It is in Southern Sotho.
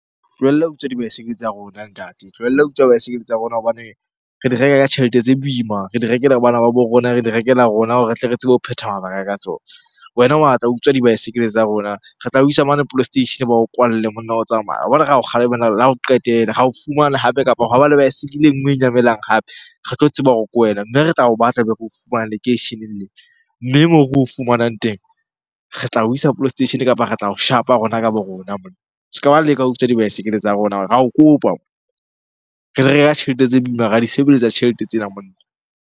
Tlohella ho utswa dibaesekele tsa rona ntate, tlohella ho utswa dibaesekele tsa rona. Hobane re di reka ka tjhelete tse boima, re di rekela bana ba bo rona, re di rekela rona hore re tle re tsebe ho phetha mabaka ka tsona. Wena wa tla utswa o dibaesekele tsa rona. Re tla o isa mane police station-e ba o kwalle monna o tsamaye. Wa bona ra kgalemela la ho qetela, ra o fumana hape kapa hore hwa ba le baesekele e nngwe e nyamelang hape re tlo tseba hore ke wena. Mme re tla o batla be re o fumane lekeisheneng lena. Mme moo re o fumanang teng, re tla o isa police station-e kapa re tla o shapa rona ka bo rona monna. Se ka ba leka wa utswa dibaesekele tsa rona , ra o kopa. Re di reka tjhelete tse boima, ra di sebeletsa tjhelete tsena monna.